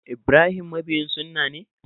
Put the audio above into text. Ibrahim mabiyin sunna ne?